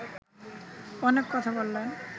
অনেক কথা বললেন